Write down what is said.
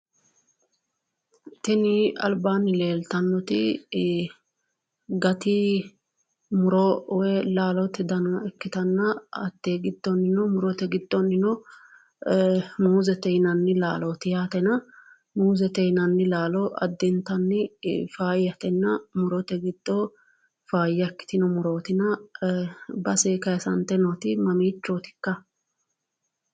Tini albaanni leeltannoti gati muro woyi laalote dana ikkitanna, hatte giddonnino murote giddonnino muuzete yinananni laalooti yaatena muuzete yinanni laalo addintanni faayyatena murote giddo faayya ikkitino murootina base kayisante nooti mamiichooti ikka?